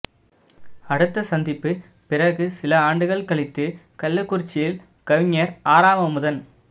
அடுத்த சந்திப்பு பிறகு சில ஆண்டுகள கழித்து கள்ளகுறிச்சியில கவிஞர் ஆராவமுதன்